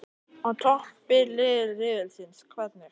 Á toppi riðilsins- hvernig?